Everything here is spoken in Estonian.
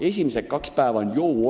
Esimesed kaks päeva on: "Jou!